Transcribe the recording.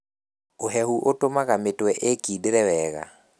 Ũhehu ũtũmaga mĩtwe ĩkindĩre wega.